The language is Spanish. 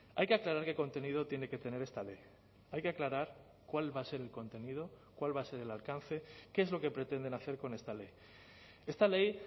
hay que aclarar qué contenido tiene que tener esta ley hay que aclarar cuál va a ser el contenido cuál va a ser el alcance qué es lo que pretenden hacer con esta ley esta ley